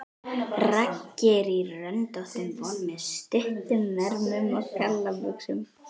Raggi er í röndóttum bol með stuttum ermum og gallabuxum.